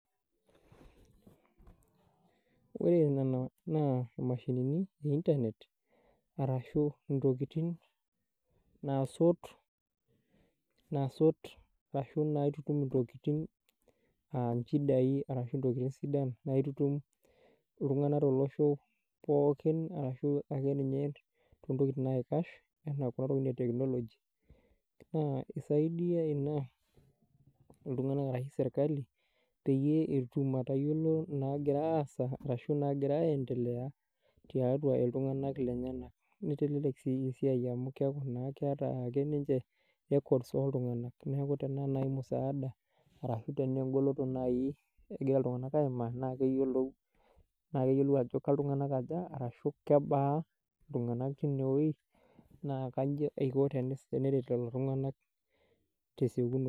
Ore ng'ano naa mashinini e internet arashu ntokitiin nasuut, nasuut ashu naitumtum ntokitin aa nchiidai arashu ntokitin sidaan naitutum ltung'ana to losho pookin arashu ake ninyee to ntokitin naikaash ana kuloo ntokitin e teknoloji. Naa keisaidia ana ltung'anak e serikali peiye aipung'uu ataiyeloo nagira aasa arashu nagira aendelea te atua eltung'anak lenyanak neitelelek sii siai amu keaku naa keeta ake ninchee records e ltung'anak. Neeku naa tana musaada arashu tenegoloo tanaii negira ltung'anak aimaa naa keileyoo, naa keiyelou ajoo kakuu ltung'ana ajaak arashu kebaa ltung'anak te wuoi naa kajii eikoo teneret leloo ltung'anak te sekunoi.